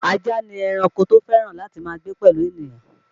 Ajá ni ẹranko tó fẹ́ràn láti máa gbé pẹ̀lú ènìyàn